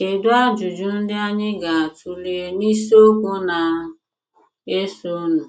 Kedụ ajụjụ ndị anyị ga - atụle n’isiokwu na - esonụ?